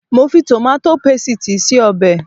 Mo fi tòmátò pésìtì se ọbẹ̀